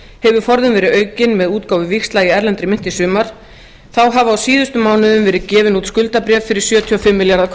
hefur forðinn verið aukinn með útgáfu víxla í erlendri mynt í sumar þá hafa á síðustu mánuðum verið gefin út skuldabréf fyrir sjötíu og fimm